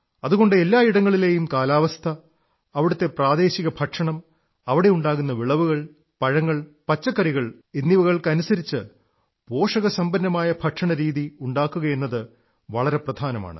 അതുകൊണ്ട് എല്ലാ ഇടങ്ങളിലെയും കാലാവസ്ഥ അവിടത്തെ പ്രാദേശിക ഭക്ഷണം അവിടെ ഉണ്ടാകുന്ന വിളവുകൾ പഴങ്ങൾ പച്ചക്കറികൾ എന്നിവകൾക്കനുസരിച്ച് പോഷകസമ്പന്നമായ ഭക്ഷണരീതി ഉണ്ടാക്കുകയെന്നത് വളരെ പ്രധാനമാണ്